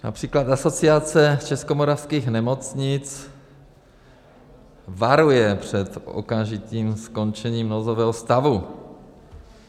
Například Asociace českomoravských nemocnic varuje před okamžitým skončením nouzového stavu.